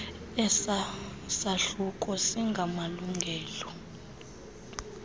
esa sahluko singamalungelo